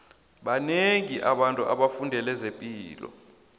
banengi abantu abafundele zepilo